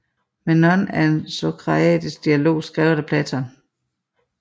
Menon er en sokratisk dialog skrevet af Platon